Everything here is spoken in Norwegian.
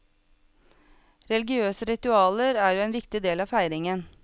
Religiøse ritualer er jo en viktig del av feiringen.